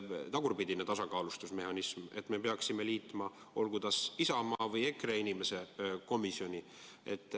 Tagurpidine tasakaalustusmehhanism, st me peaksime liitma kas Isamaa või EKRE inimese komisjoni.